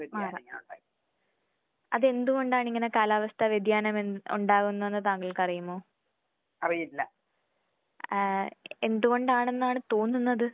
മാറാം. അത് എന്തുകൊണ്ടാണ് ഇങ്ങനെ കാലാവസ്ത്ഥ വ്യതിയാനം എന് ഉണ്ടാകുന്നത് താങ്കൾക്കറിയുമോ? ആഹ് എന്തുകൊണ്ടാണെന്നാണ് തോന്നുന്നത്?